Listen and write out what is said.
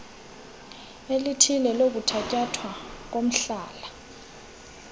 elithile lokuthatyathwa komhlala